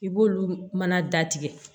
I b'olu mana datigɛ